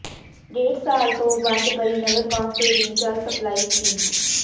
ਡੇਢ ਸਾਲ ਤੋਂ ਬੰਦ ਪਈ ਨਗਰ ਕੌਾਸਲ ਦੀ ਜਲ ਸਪਲਾਈ ਸਕੀਮ